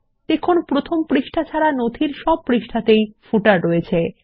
দেখুন প্রথম পাতা ছাড়া নথির সব পৃষ্ঠাতেই পাদলেখ রয়েছে